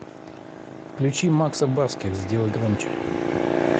включи макса барских сделай громче